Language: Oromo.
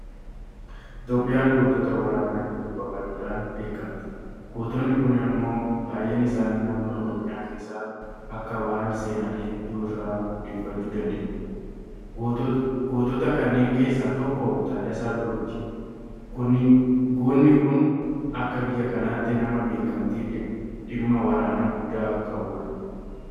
Itoophiyaan gootota waraanaa hedduu qabaachuudhaan beekamti. Gootonni kun immoo baay'een isaanii naannoo Oromiyaa keessaa akka bahan seenaalee hedduu irraa odeeffachuu dandeenya. Gootota kanneen keessaa tokko Taaddasaa Birruuti. Goonni kun akka biyya kanaatti nama beekamtii dhimma waraanaa guddaa qabudha.